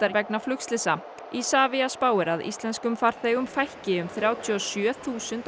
vegna flugslysa Isavia spáir því að íslenskum farþegum fækki um þrjátíu og sjö þúsund á